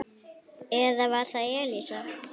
Eða var það Elísa?